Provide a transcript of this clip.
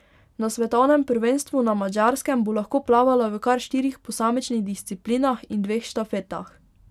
Na svetovnem prvenstvu na Madžarskem bo lahko plavala v kar štirih posamičnih disciplinah in dveh štafetah.